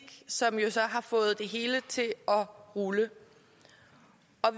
som jo så har fået det hele til at rulle